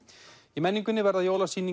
í menningunni verða